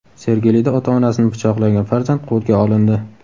Sergelida ota-onasini pichoqlagan farzand qo‘lga olindi.